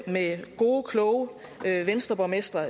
gode kloge venstreborgmestre